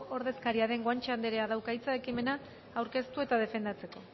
ordezkaria den guanche andereak dauka hitza ekimena aurkeztu eta defendatzeko